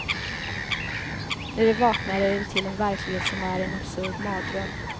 När de vaknar är det till en verklighet som är en absurd mardröm.